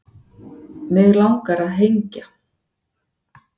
Mig langar að hengja